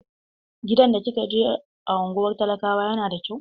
Gidan da kika je a unguwar talakawa yana da kyau?